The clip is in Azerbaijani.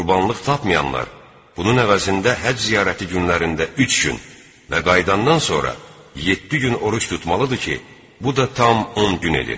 Qurbanlıq tapmayanlar bunun əvəzində həcc ziyarəti günlərində üç gün və qayıdandan sonra yeddi gün oruc tutmalıdır ki, bu da tam 10 gün edir.